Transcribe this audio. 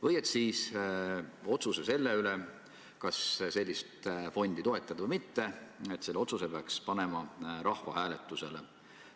Või siis seisukoht, et otsuse, kas sellist fondi toetada või mitte, peaks panema rahvahääletusele.